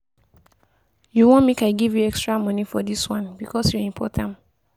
You wan make I give you extra money for this one because you import am